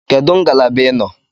Kedu ngalaba ị nọ?